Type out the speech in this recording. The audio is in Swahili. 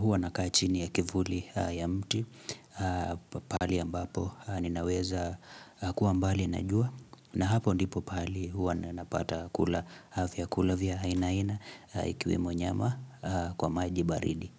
huwa nakaa chini ya kivuli ya mti, pahali ambapo ninaweza kuwa mbali na jua, na hapo ndipo pahali huwa ninapata kula vyakula vya aina aina ikiwemo nyama kwa maji baridi.